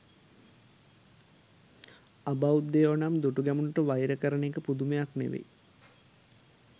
අබෞද්ධයෝ නම් දුටුගැමුණුට වෛර කරන එක පුදුමයක් නෙවෙයි.